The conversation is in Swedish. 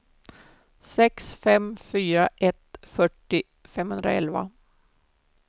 sex fem fyra ett fyrtio femhundraelva